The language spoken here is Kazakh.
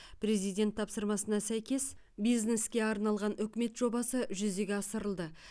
президент тапсырмасына сәйкес бизнеске арналған үкімет жобасы жүзеге асырылды